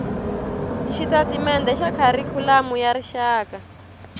xitatimende xa kharikhulamu ya rixaka